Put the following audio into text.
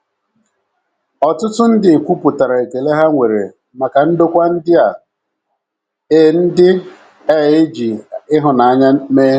Ọtụtụ ndị kwupụtara ekele ha nwere maka ndokwa ndị a e ndị a e ji ịhụnanya mee.